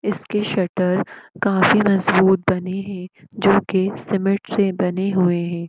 इसकी सटर मजबूत बनी है जो की सीमेंट से बनी हुई है।